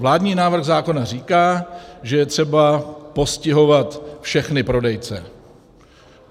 Vládní návrh zákona říká, že je třeba postihovat všechny prodejce.